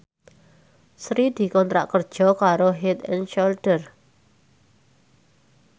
Sri dikontrak kerja karo Head and Shoulder